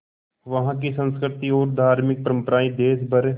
वहाँ की संस्कृति और धार्मिक परम्पराएं देश भर